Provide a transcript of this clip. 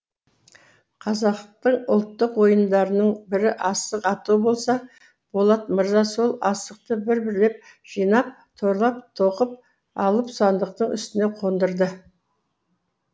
қазақты ұлттық ойындарының бірі асық ату болса болат мырза сол асықты бір бірлеп жинап торлап тоқып алып сандықтың үстіне қондырды